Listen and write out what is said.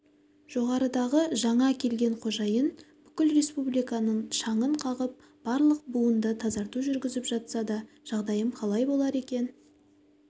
жоғарыдағы жаңа келген қожайын бүкіл республиканың шаңын қағып барлық буында тазарту жүргізіп жатса да жағдайым қалай болар екен